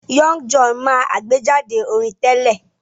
Young John máa àgbéjáde orin tẹ́lẹ̀